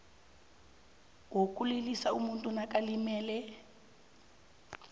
wokulilisa umuntu nakalimalele